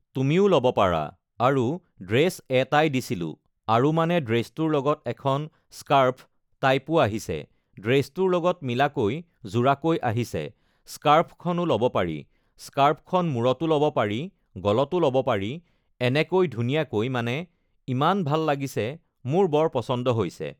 তুমিও ল'ব পাৰা আৰু ড্ৰেছ এটাই দিছিলোঁ আৰু মানে ড্ৰেছটোৰ লগত এখন স্কাৰ্ফ টাইপো আহিছে ড্ৰেছটোৰ লগত মিলাকৈ যোৰাকৈ আহিছে স্কাৰ্ফখনো ল'ব পাৰি স্কাৰ্ফখন মূৰতো ল'ব পাৰি গলটো ল'ব পাৰি এনেকৈ ধুনীয়াকৈ মানে ইমান ভাল লাগিছে মোৰ বৰ পচন্দ হৈছে